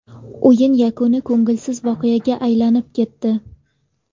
O‘yin yakuni ko‘ngilsiz voqeaga aylanib ketdi.